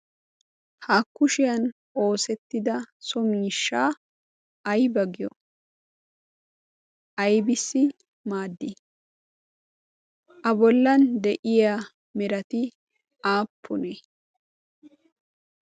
ha kushiyan oosettida somiishshaa ay bagiyo aybissi maaddii a bollan de'iya mirati aappunee